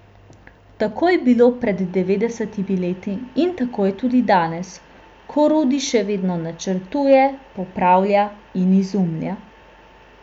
Tako je bilo pred devetdesetimi leti in tako je tudi danes, ko Rudi še vedno načrtuje, popravlja in izumlja.